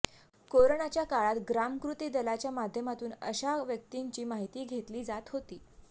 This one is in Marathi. कोरोनाच्या काळात ग्रामकृती दलाच्या माध्यमातून अशा व्यक्तींची माहिती घेतली जात होती